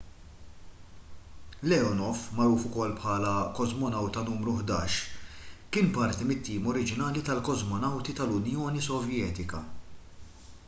leonov magħruf ukoll bħala kosmonawta nru 11 kien parti mit-tim oriġinali tal-kosmonawti tal-unjoni sovjetika